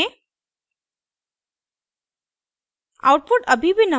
और आउटपुट देखें